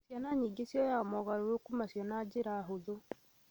Ciana nyingĩ cioyaga mogarũrũku macio na njĩra hũthũ